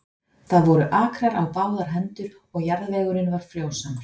Það voru akrar á báðar hendur og jarðvegurinn var frjósamur.